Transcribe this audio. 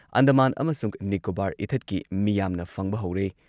ꯑꯟꯗꯃꯥꯟ ꯑꯃꯁꯨꯡ ꯅꯤꯀꯣꯕꯥꯔ ꯏꯊꯠꯀꯤ ꯃꯤꯌꯥꯝꯅ ꯐꯪꯕ ꯍꯧꯔꯦ꯫